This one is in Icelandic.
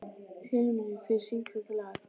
Fjólmundur, hver syngur þetta lag?